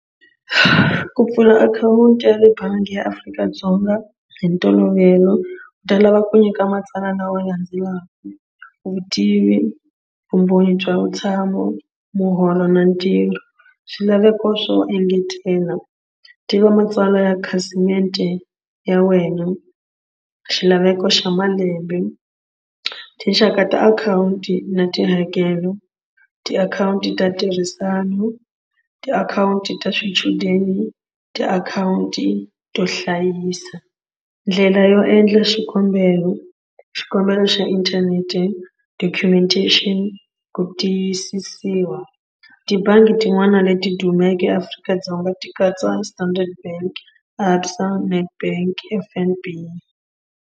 Ku pfula akhawunti ya le bangi ya Afrika-Dzonga hi ntolovelo u ta lava ku nyika matsalwa lawa ya landzelaka vutivi vumbhoni bya vutshamo muholo na ntirho swilaveko swo engetela tiva matsalwa ya khasimende ya wena xilaveko xa malembe tinxaka ta akhawunti na tihakelo tiakhawunti ta ntirhisano tiakhawunti ta swichudeni tiakhawunti to hlayisa. Ndlela yo endla xikombelo xikombelo xa inthanete documentation ku tiyisisiwa. Tibangi tin'wana leti dumeke eAfrika-Dzonga ti katsa Standard Bank, ABSA, Netbank, F_N_B.